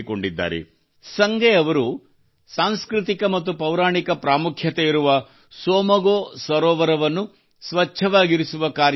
ಸಂಗೆ ಅವರು ಸಾಂಸ್ಕೃತಿಕ ಮತ್ತು ಪೌರಾಣಿಕ ಪ್ರಾಮುಖ್ಯತೆಯಿರುವ ಟ್ಸೊಮ್ಗೊ ಸೋಮಗೋ ಸರೋವರವನ್ನು ಸ್ವಚ್ಛವಾಗಿರಿಸುವ ಕಾರ್ಯ ಕೈಗೊಂಡಿದ್ದಾರೆ